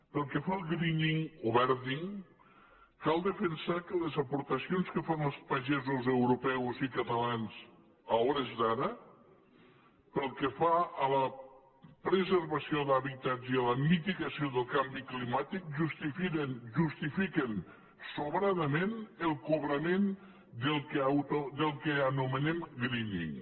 pel que fa al greeningaportacions que fan els pagesos europeus i catalans a hores d’ara pel que fa a la preservació d’hàbitats i a la mitigació del canvi climàtic justifiquen sobradament el cobrament del que anomenem greening